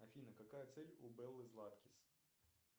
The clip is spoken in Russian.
афина какая цель у беллы златкис